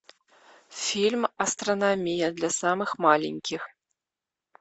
фильм астрономия для самых маленьких